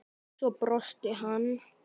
Svo brosti hann.